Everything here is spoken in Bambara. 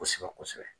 Kosɛbɛ kosɛbɛ